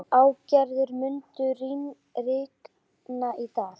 Ástgerður, mun rigna í dag?